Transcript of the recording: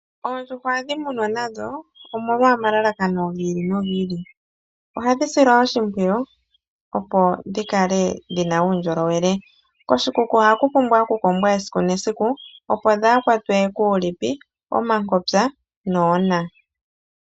Oondjuhwa ohadhi munwa nadho omolwa omalalakano gi ili no gi ili , ohadhi silwa oshimpwiyu opo dhikale dhina uundjolowele, koshikuku oha ku pumbwa oku kombwa esiku nesiku opo dhaakwatwe kuulipi, omankopyo noona.